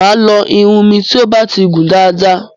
Máa lọ irun mi ti o ba ti gùn dáàda.